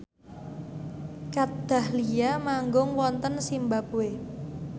Kat Dahlia manggung wonten zimbabwe